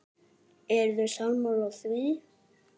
Eruð þið sammála því?